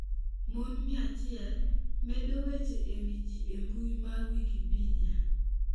Mon 100: Medo weche e wi ji e mbui mar Wikipedia